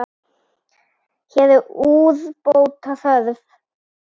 Hér er úrbóta þörf.